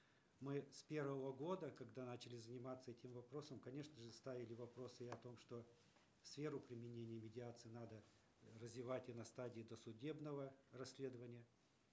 мы с первого года когда начали заниматься этим вопросом конечно же ставили вопрос и о том что сферу применения медиации надо развивать и на стадии досудебного расследования